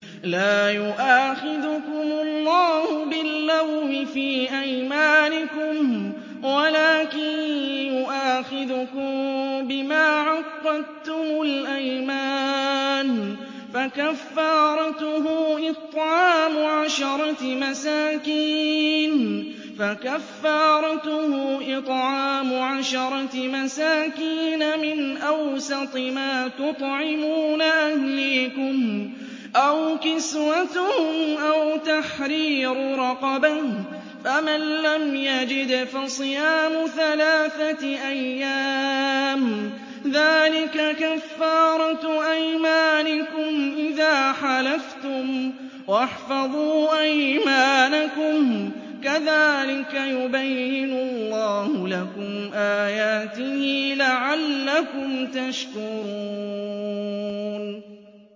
لَا يُؤَاخِذُكُمُ اللَّهُ بِاللَّغْوِ فِي أَيْمَانِكُمْ وَلَٰكِن يُؤَاخِذُكُم بِمَا عَقَّدتُّمُ الْأَيْمَانَ ۖ فَكَفَّارَتُهُ إِطْعَامُ عَشَرَةِ مَسَاكِينَ مِنْ أَوْسَطِ مَا تُطْعِمُونَ أَهْلِيكُمْ أَوْ كِسْوَتُهُمْ أَوْ تَحْرِيرُ رَقَبَةٍ ۖ فَمَن لَّمْ يَجِدْ فَصِيَامُ ثَلَاثَةِ أَيَّامٍ ۚ ذَٰلِكَ كَفَّارَةُ أَيْمَانِكُمْ إِذَا حَلَفْتُمْ ۚ وَاحْفَظُوا أَيْمَانَكُمْ ۚ كَذَٰلِكَ يُبَيِّنُ اللَّهُ لَكُمْ آيَاتِهِ لَعَلَّكُمْ تَشْكُرُونَ